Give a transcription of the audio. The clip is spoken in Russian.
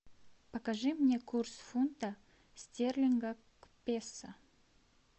покажи мне курс фунта стерлинга к песо